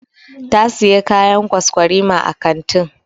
Ta Siya kayan kwaskwarima a kantin.